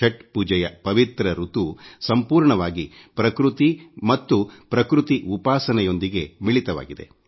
ಛಟ್ ಪೂಜೆಯ ಪವಿತ್ರ ಋತು ಸಂಪೂರ್ಣವಾಗಿ ಪೃಕ್ರತಿ ಮತ್ತು ಪೃಕ್ರತಿ ಉಪಾಸನೆಯೊಂದಿಗೆ ಮಿಳಿತವಾಗಿದೆ